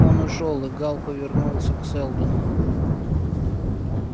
он ушёл и гаал повернулся к сэлдону